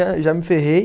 Aí já me ferrei.